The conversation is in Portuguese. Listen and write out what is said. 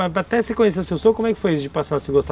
Até se conhecer o seu sou, como é que foi isso de passar a se gostar?